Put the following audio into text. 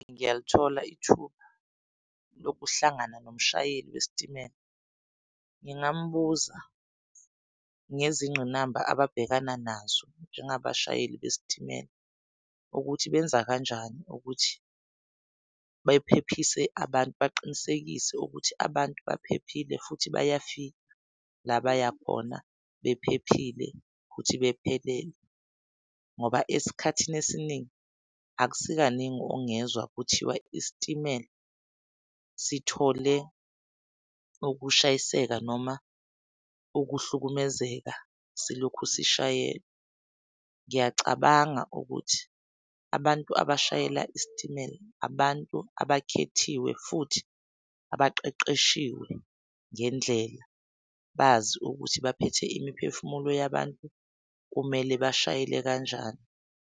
Ngiyalithola ithuba lokuhlangana nomshayeli wesitimela ngingambuza ngezinqinamba ababhekana nazo nje ngabashayeli besitimela ukuthi benza kanjani ukuthi bephephise abantu baqinisekise ukuthi abantu baphephile futhi bayafika la baya khona bephephile futhi bephelele. Ngoba esikhathini esiningi akusikaningi ungezwa kuthiwa isitimela sithole ukushayiseka noma ukuhlukumezeka silokhu sishayelwa. Ngiyacabanga ukuthi abantu abashayela isitimela abantu abakhethiwe futhi abaqeqeshiwe ngendlela bazi ukuthi baphethe imiphefumulo yabantu kumele bashayele kanjani.